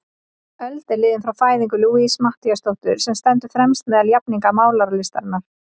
Öld er liðin frá fæðingu Louisu Matthíasdóttur, sem stendur fremst meðal jafningja málaralistarinnar.